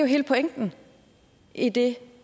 hele pointen i det